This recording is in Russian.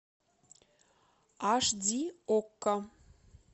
аш ди окко